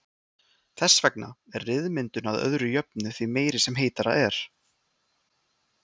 Þess vegna er ryðmyndun að öðru jöfnu því meiri sem heitara er.